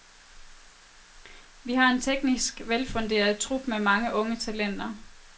Vi har en teknisk velfunderet trup med mange unge talenter.